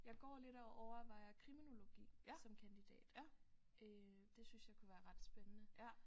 Jeg går lidt og overvejer kriminologi som kandidat øh det synes jeg kunne være ret spændende